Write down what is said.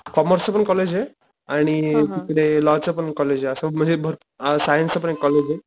कॉमर्सच पण कॉलेजे आणि तिकडे लॉ च पण कॉलेजे असं म्हणजे भरपूर सायन्स च पण कॉलेजे